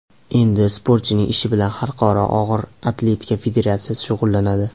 Endi sportchining ishi bilan Xalqaro og‘ir atletika federatsiyasi shug‘ullanadi.